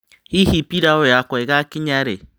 Hihi pilau yakwa ĩgakinya rĩ?